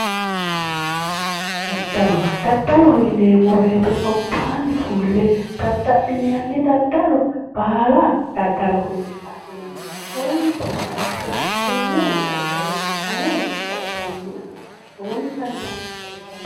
daddalo daddaloho yineemmowoyite gobbaanni fulle dadda'linanni dadadalo baala daddalo yine adhinanni ane konne daddalo lowontanni asse baxisannoe